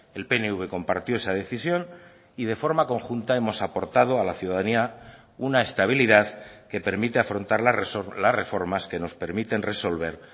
el pnv compartió esa decisión y de forma conjunta hemos aportado a la ciudadanía una estabilidad que permite afrontar las reformas que nos permiten resolver